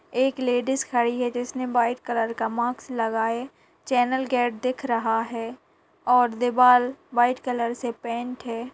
एक लेडिज खड़ी है जिसने व्हाइट कलर का मास्क लगाए चैनल गेट दिख रहा है और दीवाल व्हाइट कलर से पेंट है।